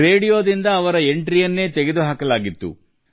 ರೇಡಿಯೊದಲ್ಲಿ ಅವರ ಅವಕಾಶವನ್ನು ತಡೆಹಿಡಿಯಲಾಯಿತು